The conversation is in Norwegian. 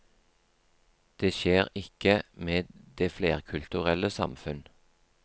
Det skjer ikke med det flerkulturelle samfunn.